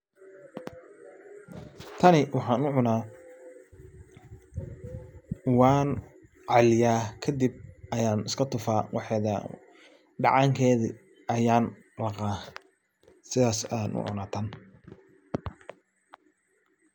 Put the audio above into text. Tani waxaan u cuna waan caya kadib ayan iska tufaa waxeeda dhacaankeeda ayan laqa sidas ayan u cuna tan.